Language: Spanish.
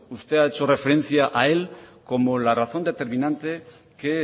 usted ha hecho referencia a él como la razón determinante que